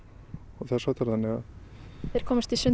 þess háttar og þeir komast í sund á